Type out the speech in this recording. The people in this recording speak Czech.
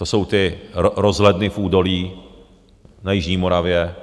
To jsou ty rozhledny v údolí na jižní Moravě